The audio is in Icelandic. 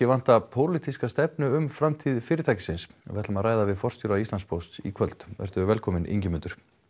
vanta pólitíska stefnu um framtíð fyrirtæksins við ætlum að ræða við forstjóra Íslandspósts í kvöld vertu velkominn Ingimundur